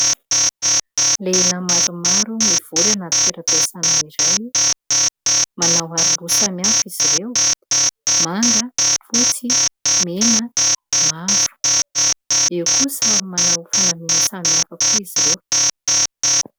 Lehilahy maromaro mivory anaty toeram-piasana iray. Manao aroloha samihafa izy ireo: manga, fotsy, mena, mavo. Eo koa samy manao fanamiana samihafa koa izy ireo.